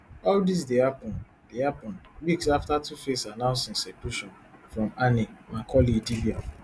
all dis dey happun dey happun weeks afta tuface announce im separation from annie macaulay idibia